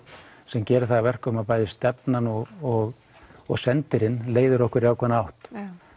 sem gerir það að verkum að stefnan og og og sendirinn leiðir okkur í ákveðna átt